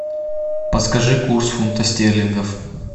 подскажи курс фунта стерлингов